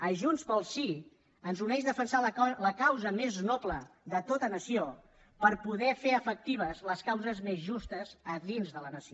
a junts pel sí ens uneix defensar la causa més noble de tota nació per poder fer efectives les causes més justes a dins de la nació